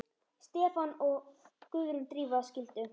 Stefán og Guðrún Drífa skildu.